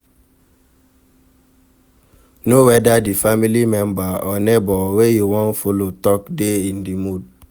Know whether di family member or neighbour wey you won follow talk de in di mood